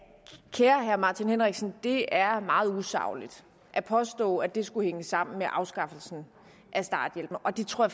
kære herre martin henriksen det er meget usagligt at påstå at det skulle hænge sammen med afskaffelsen af starthjælpen og det tror